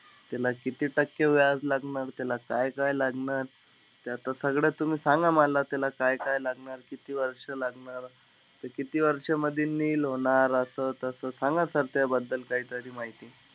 त्याला किती टक्के व्याज लागणार, त्याला काय-काय लागणार? ते आता सगळं तुम्ही सांगा मला. त्याला काय-काय लागणार, किती वर्ष लागणार. ते किती वर्ष मध्ये nil होणार? असं तसं, सांगा sir त्याबद्दल काहीतरी माहिती.